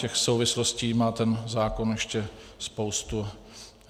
Těch souvislostí má ten zákon ještě spoustu.